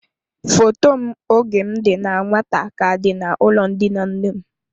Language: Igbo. Foto m oge m dị na nwata ka dị n'ulo ndina nnem.